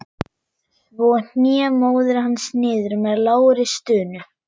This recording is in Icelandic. Svo hné móðir hans niður með lágri stunu.